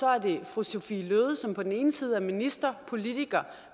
er der fru sophie løhde som på den ene side er minister politiker